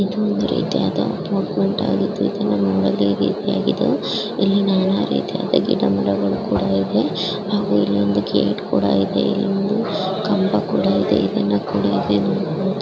ಇದು ಒಂದು ರೀತಿಯಾದ ಇಲ್ಲಿ ನಾನಾ ರೀತಿಯಾದ ಗಿಡಮರಗಳು ಕೂಡ ಇದೆ ಇಲ್ಲಿ ಒಂದು ಗೇಟ್ ಕೂಡ ಇದೆ ಕಂಬ ಕೂಡ ಇದೆ.